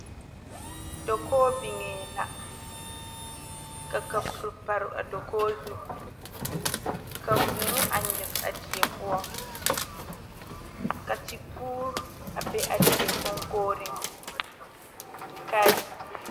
Dakoo biŋee la ka kapuri biŋ a dakoo zu ka vuu a nyige a die poɔ ka tepuure a be a die kɔŋkɔgeriŋ laa